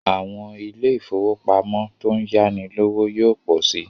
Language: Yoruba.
Àwọn ilé ifówópamọ́ tó ń yáni lówó yóò pọ̀ si